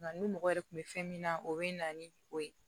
Nka ni mɔgɔ yɛrɛ tun bɛ fɛn min na o bɛ na ni o ye